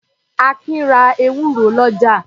Akin ra ewúro lọ́jà.